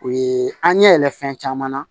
U ye an ɲɛ yɛlɛ fɛn caman na